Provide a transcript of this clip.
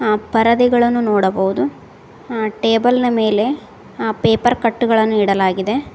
ಆ ಪರದೆಗಳನ್ನು ನೋಡಬಹುದು ಆ ಟೇಬಲ್ನ ಮೇಲೆ ಆ ಪೇಪರ್ ಕಟ್ಟುಗಳನ್ನು ಇಡಲಾಗಿದೆ.